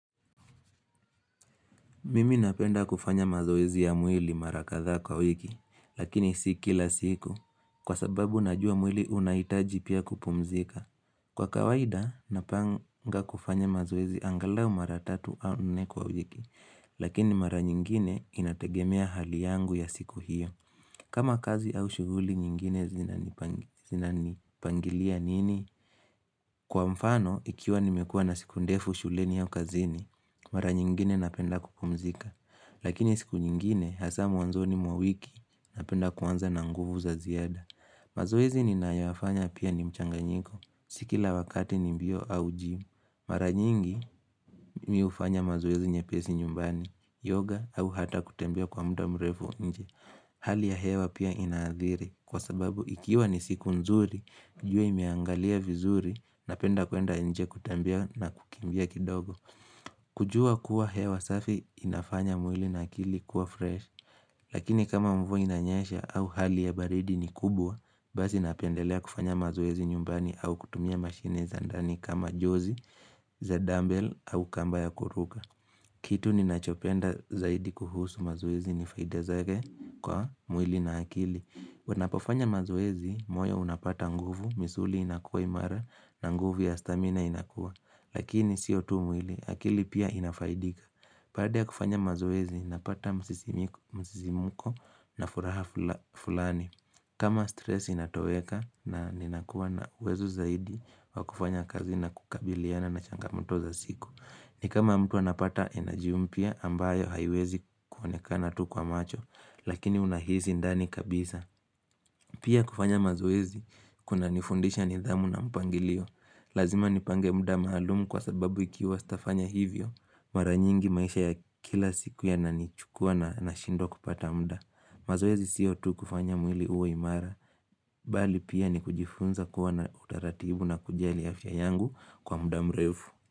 Mimi napenda kufanya mazoezi ya mwili mara kadha kwa wiki, lakini si kila siku, kwa sababu najua mwili unahitaji pia kupumzika. Kwa kawaida, napanga kufanya mazoezi angalau mara tatu au nne kwa wiki, lakini mara nyingine inategemea hali yangu ya siku hiyo. Kama kazi au shughuli nyingine zinanipangilia nini? Kwa mfano, ikiwa nimekua na siku ndefu shuleni au ukazini, mara nyingine napenda kupumzika. Lakini siku nyingine, hasa mwanzoni mwa wiki, napenda kuanza na nguvu za ziada. Mazoezi ninayoyafanya pia ni mchanganyiko, si kila wakati ni mbio au gym. Mara nyingi, mimi hufanya mazoezi nyepesi nyumbani, yoga au hata kutembea kwa muda mrefu nje. Hali ya hewa pia inaadhiri kwa sababu ikiwa ni siku nzuri, jua imeangalia vizuri n penda kuenda nje kutembea na kukimbia kidogo. Kujua kuwa hewa safi inafanya mwili na akili kuwa fresh. Lakini kama mvua inanyesha au hali ya baridi ni kubwa, basi napendelea kufanya mazoezi nyumbani au kutumia mashine za ndani kama jozi za dumbbell au kamba ya kuruka. Kitu ninachopenda zaidi kuhusu mazoezi ni faida zake kwa mwili na akili. Wanapofanya mazoezi, moyo unapata nguvu, misuli inakua imara na nguvu ya stamina inakua. Lakini sio tu mwili, akili pia inafaidika. Baada ya kufanya mazoezi, napata msisimko na furaha fulani. Kama stress inatoweka na ninakuwa na wezo zaidi, wa kufanya kazi na kukabiliana na changamoto za siku. Ni kama mtu anapata energy mpya ambayo haiwezi kuonekana tu kwa macho, lakini unahisi ndani kabisa. Pia kufanya mazoezi, kunanifundisha nidhamu na mpangilio. Lazima nipange muda maalumu kwa sababu ikiwa sitafanya hivyo. Mara nyingi maisha ya kila siku yananichukua na nashindwa kupata muda. Mazoezi sio tu kufanya mwili uwe imara. Bali pia ni kujifunza kuwa na utaratibu na kujali afya yangu kwa muda mrefu.